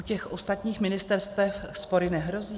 U těch ostatních ministerstev spory nehrozí?